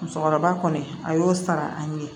Musokɔrɔba kɔni a y'o sara an ye